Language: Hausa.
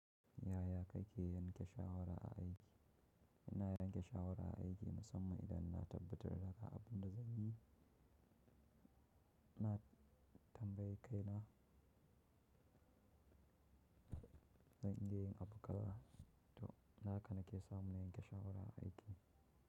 Yaya kake yanke shawara a aiki? Ina yanke shawara a aiki musamman idan na tabbatar da haka abin da zanyi. Na tambayi kaina. Zan iya yin abu kaza, to haka nake samun yanke shawara a aiki.